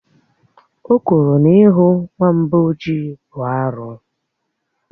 Ò kwuru na ihù nwamba ọjị bụ arụ